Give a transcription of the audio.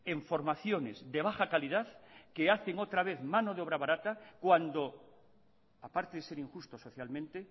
en formaciones de baja calidad que hacen otra vez mano de obra barata cuando aparte de ser injustos socialmente